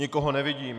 Nikoho nevidím.